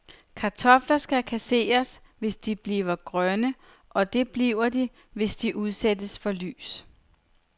Kartofler skal kasseres, hvis de bliver grønne, og det bliver de, hvis de udsættes for lys.